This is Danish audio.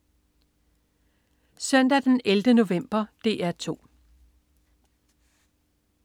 Søndag den 11. november - DR 2: